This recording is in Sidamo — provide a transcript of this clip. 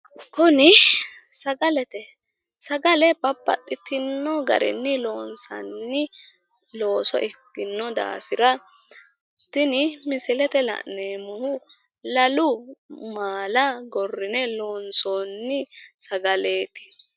Kuni sagalete. Sagale babbaxxitinno garinni loonsanni looso ikkinno daafira tini misilete la'neemmohu lalu maala gorrine loonsoonni sagaleeti.